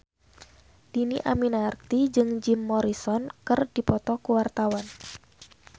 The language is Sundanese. Dhini Aminarti jeung Jim Morrison keur dipoto ku wartawan